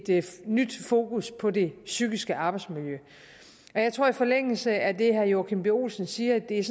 nyt fokus på det psykiske arbejdsmiljø jeg tror i forlængelse af det herre joachim b olsen siger at det